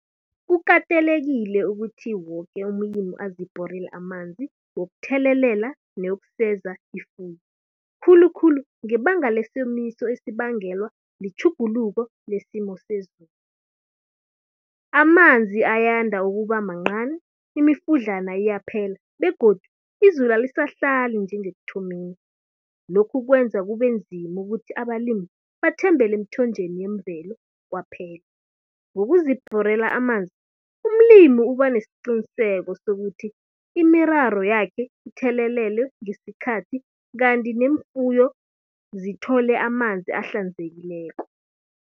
Kukatelekile ukuthi woke umlimi azibhorele amanzi wokuthelelela newokuseza ifuyo. Khulukhulu ngebanga lesomiso esibangelwa litjhuguluko nesimo sezulu. Amanzi ayanda ukuba mancani, imifudlana iyaphela begodu izulu alisahlali njengekuthomeni. Lokhu kwenza kube nzima ukuthi abalimi bathembele emthonjeni yemvelo kwaphela. Ngokuzibhorela amanzi umlimi uba nesiqiniseko sokuthi imiraro yakhe ithelelelwe ngesikhathi kanti neemfuyo zithole amanzi ahlanzekileko.